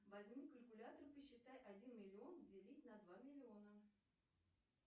возьми калькулятор посчитай один миллион делить на два миллиона